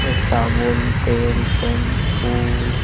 हे साबुन तेल शैम्पू --